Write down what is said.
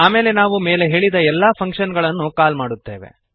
ಆಮೇಲೆ ನಾವು ಮೇಲೆ ಹೇಳಿದ ಎಲ್ಲ ಫಂಕ್ಶನ್ ಗಳನ್ನು ಕಾಲ್ ಮಾಡುತ್ತೇವೆ